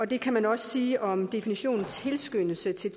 det kan man også sige om definitionen tilskyndelse til